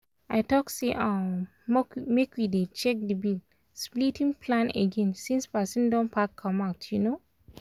i talk say um make we dey check the bill-splitting plan again since person don pack come out. um